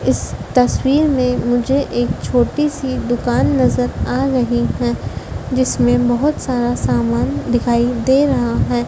इस तस्वीर में मुझे एक छोटी सी दुकान नजर आ रही है जिसमें बहोत सारा सामान दिखाई दे रहा है।